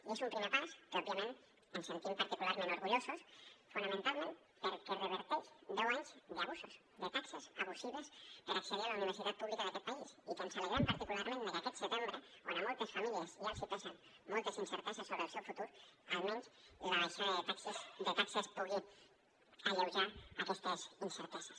i és un primer pas que òbviament ens en sentim particularment orgullosos fonamentalment perquè reverteix deu anys d’abusos de taxes abusives per accedir a la universitat pública d’aquest país i que ens alegrem particularment de que aquest setembre quan a moltes famílies ja els hi pesin moltes incerteses sobre el seu futur almenys la baixada de taxes pugui alleujar aquestes incerteses